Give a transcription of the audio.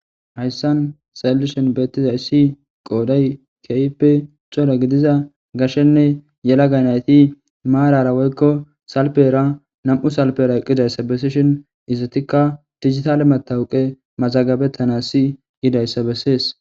Haysam xeelishini beetizay qooday keehippe cora gidiza gashenne yelaga nayti maarara wotko salpera nam'u salpera eqidaysa besishin izetika dijitale matoqe masgabetana yidaysa besses.